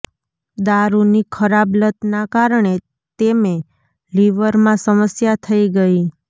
દારૂની ખરાબ લતના કારણે તેમે લીવરમાં સમસ્યા થઈ ગઈ